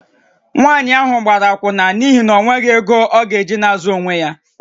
Nwaanyị ahụ gara akwụna n’ihi na o nweghị ego ọ ga-eji na-azụ onwe ya